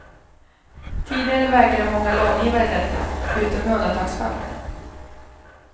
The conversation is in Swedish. Tidigare vägrade många långivare detta utom i undantagsfall.